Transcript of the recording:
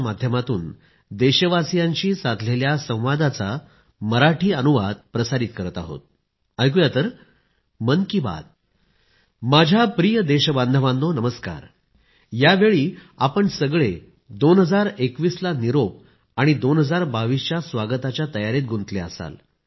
माझ्या प्रिय देशबांधवांनो नमस्कार यावेळी आपण सगळे 2021 ला निरोप आणि 2022 च्या स्वागताच्या तयारीत गुंतले असाल